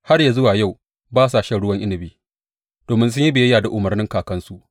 Har yă zuwa yau ba sa shan ruwan inabi, domin sun yi biyayya da umarnin kakansu.